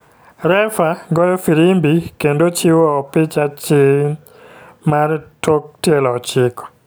Refa goyo firimbi kendo chiwo opich achiy mar tok tielo ochiko,